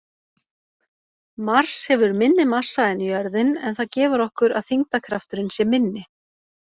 Mars hefur minni massa en jörðin en það gefur okkur að þyngdarkrafturinn sé minni.